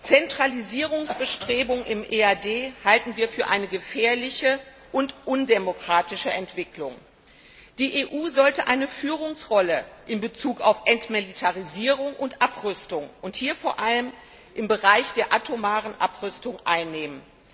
Zentralisierungsbestrebungen im Europäischen Auswärtigen Dienst halten wir für eine gefährliche und undemokratische Entwicklung. Die EU sollte eine Führungsrolle in Bezug auf Entmilitarisierung und Abrüstung, vor allem im Bereich der atomaren Abrüstung, einnehmen.